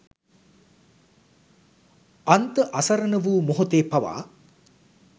අන්ත අසරණ වූ මොහොතේ පවා